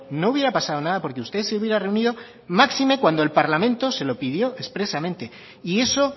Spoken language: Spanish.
no hubiera pasado nada porque usted se hubiera reunido máxime cuando el parlamento se lo pidió expresamente y eso